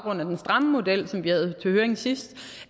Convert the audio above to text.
om den stramme model som vi havde til høring sidst